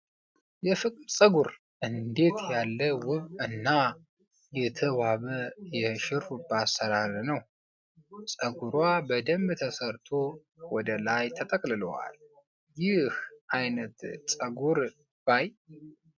የፍቅር ፀጉር! እንዴት ያለ ውብ እና የተዋበ የሽሩባ አሰራር ነው! ፀጉሯ በደንብ ተሰርቶ ወደ ላይ ተጠቅልሏል! ይህን አይነት ፀጉር ባይ!